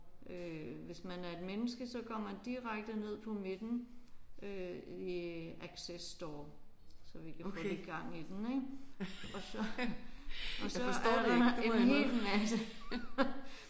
Øh hvis man er et menneske så går man direkte ned på midten øh i access store så vi kan få lidt gang i den ik og så og så er der en hel masse